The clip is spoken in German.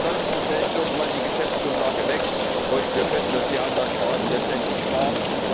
Ansonsten fällt irgendwann die Geschäftsgrundlage weg, und wir können uns die Haushaltsberatungen letztendlich sparen.